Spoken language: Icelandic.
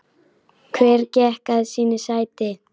Hver gekk að sínu sæti.